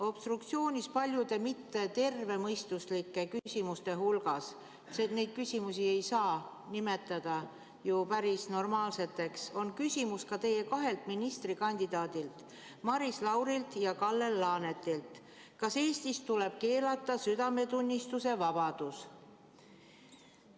Obstruktsioonis oli paljude mittetervemõistuslike küsimuste hulgas – neid küsimusi ei saa ju nimetada päris normaalseteks – küsimus ka teie kahelt ministrikandidaadilt Maris Laurilt ja Kalle Laanetilt: "Kas Eestis tuleb keelata südametunnistuse vabadus?